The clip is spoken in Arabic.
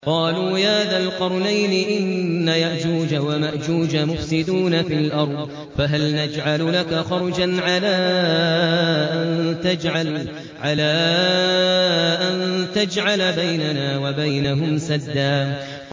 قَالُوا يَا ذَا الْقَرْنَيْنِ إِنَّ يَأْجُوجَ وَمَأْجُوجَ مُفْسِدُونَ فِي الْأَرْضِ فَهَلْ نَجْعَلُ لَكَ خَرْجًا عَلَىٰ أَن تَجْعَلَ بَيْنَنَا وَبَيْنَهُمْ سَدًّا